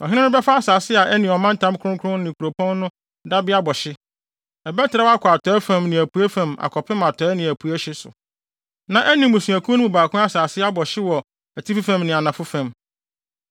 “ ‘Ɔhene no bɛfa asase a ɛne ɔmantam kronkron no ne kuropɔn no dabea bɔ hye. Ɛbɛtrɛw akɔ atɔe fam ne apuei fam akɔpem atɔe ne apuei ahye so, na ɛne mmusuakuw no mu baako asase abɔ hye wɔ atifi fam ne anafo fam.